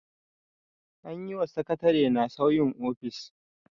An yi wa sakatarena sauyin ofis.